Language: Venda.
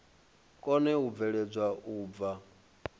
kone u bveledzwa u bva